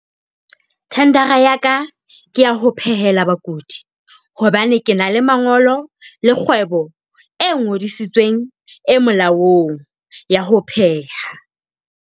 Tender-a ya ka, ke ya ho phehela bakudi hobane ke na le mangolo la kgwebo e ngodisitsweng e molaong ya ho pheha.